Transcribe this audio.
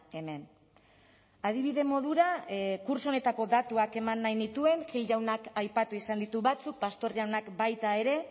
hemen adibide modura kurtso honetako datuak eman nahi nituen gil jaunak aipatu izan ditu batzuk pastor jaunak baita ere